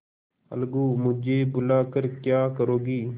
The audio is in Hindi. अलगूमुझे बुला कर क्या करोगी